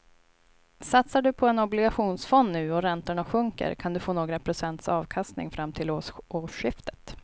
Satsar du på en obligationsfond nu och räntorna sjunker kan du få några procents avkastning fram till årsskiftet.